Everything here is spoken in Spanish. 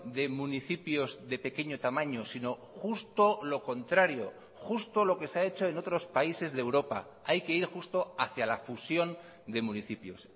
de municipios de pequeño tamaño sino justo lo contrario justo lo que se ha hecho en otros países de europa hay que ir justo hacia la fusión de municipios